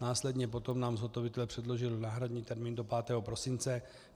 Následně potom nám zhotovitelé předložili náhradní termín do 5. prosince.